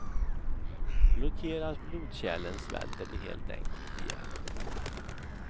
Blockeras blodkärlen svälter de helt enkelt ihjäl.